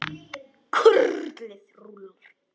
Kurlið rúllar.